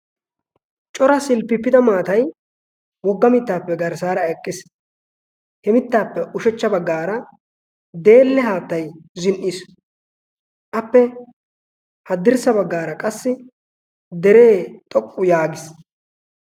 cora silipiipida maatai wogga mittaappe garssaara eqqiis. he mittaappe ushachcha baggaara deelle haattai zin77iis. appe haddirssa baggaara qassi deree xoqqu yaagiis.